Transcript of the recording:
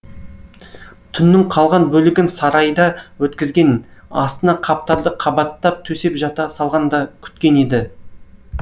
түннің қалған бөлігін сарайда өткізген астына қаптарды қабаттап төсеп жата салған да күткен еді